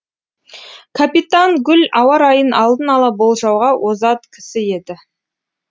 капитан гуль ауа райын алдын ала болжауға озат кісі еді